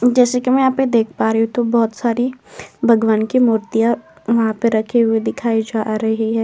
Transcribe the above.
जैसे कि मैं यहाँ पे देख पा रही हूं तो बोहोत सारी भगवान की मूर्तियां वहाँ पे रखी हुई दिखाई जा रही हैं।